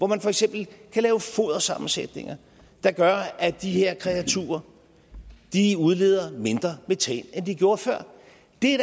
man for eksempel kan lave fodersammensætninger der gør at de her kreaturer udleder mindre metan end de gjorde før det er da